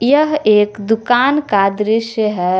यह एक दुकान का दृश्य है।